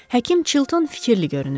Həkim Chilton fikirli görünürdü.